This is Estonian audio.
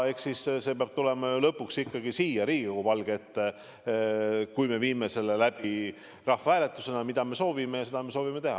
Eks see peab tulema lõpuks ikkagi siia Riigikogu palge ette, kui me viime selle läbi rahvahääletusena, mida me soovimegi teha.